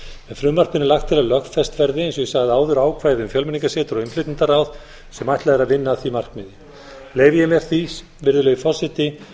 frumvarpinu er lagt til að lögfest verði eins og ég sagði áður ákvæði um fjölmenningarsetur og innflytjendaráð sem ætlað er að vinna að því markmiði leyfi ég mér því virðulegi forseti